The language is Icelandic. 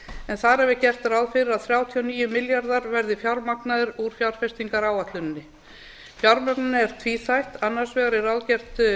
er gert ráð fyrir að þrjátíu og níu milljarðar verði fjármagnaðir úr fjárfestingaráætluninni fjármögnunin er tvíþætt annars vegar er ráðgert